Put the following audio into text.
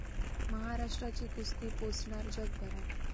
महाराष्ट्राची कुस्ती पोचणार जगभरात